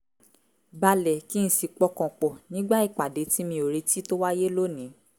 balẹ̀ kí n sì pọkàn pọ̀ nígbà ìpàdé tí mi ò retí tó wáyé lónìí